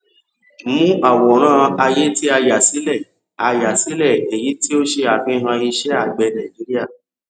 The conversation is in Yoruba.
mú àwòrán ayé tí a yà sílẹ a yà sílẹ èyí ní ò ṣe àfihàn iṣẹ àgbẹ nàìjíríà